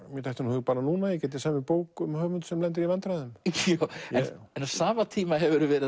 mér dettur í hug núna að ég gæti samið bók um höfund sem lendir í vandræðum en á sama tíma hefurðu verið